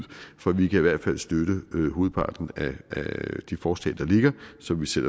vi kan i hvert fald støtte hovedparten af de forslag der ligger som vi selv